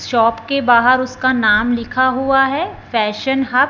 shop के बाहर उसका नाम लिखा हुआ है फैशन हब --